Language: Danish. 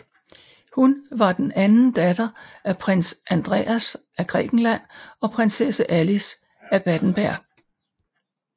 Hun var den anden datter af Prins Andreas af Grækenland og Prinsesse Alice af Battenberg